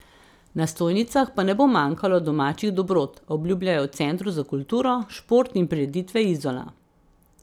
Na stojnicah pa ne bo manjkalo domačih dobrot, obljubljajo v Centru za kulturo, šport in prireditve Izola.